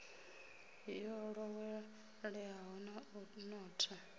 yo ḓoweleaho na u notha